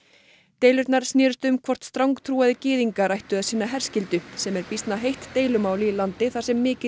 deilurnar snerust um hvort strangtrúaðir gyðingar ættu að sinna herskyldu sem er býsna heitt deilumál í landi þar sem mikill